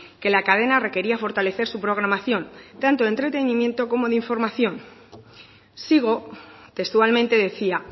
que la cadena requería fortalecer su programación tanto entretenimiento como de información sigo textualmente decía